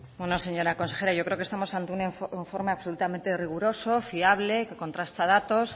bueno señora consejera yo creo que estamos ante un informe absolutamente riguroso fiable que contrasta datos